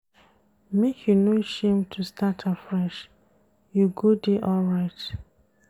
Make you no shame to start afresh, you go dey alright.